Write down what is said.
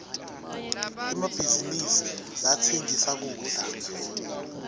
emabhizinisi latsengisa kudla